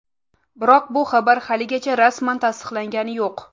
Biroq bu xabar haligacha rasman tasdiqlangani yo‘q.